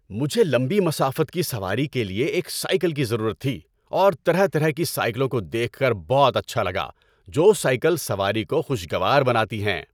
مجھے لمبی مسافت کی سواری کے لیے ایک سائیکل کی ضرورت تھی اور طرح طرح کی سائیکلوں کو دیکھ کر بہت اچھا لگا جو سائیکل سواری کو خوشگوار بناتی ہیں۔